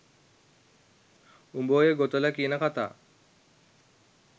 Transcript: උඹ ඔය ගොතල කියන කථා